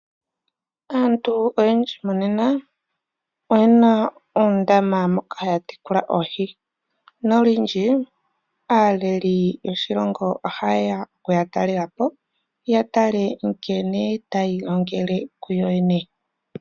Aantu oyendji monena oyena oondama moka haya tekula oohi, nolundji aaleli yoshilongo ohayeya okuya talelapo yatale nkene ta yiilongele kuyo yene.